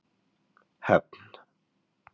Höfn